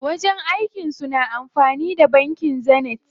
Wajen aikin su na amfani da bankin Zenith.